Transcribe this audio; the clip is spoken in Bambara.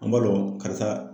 An b'a dɔn karisa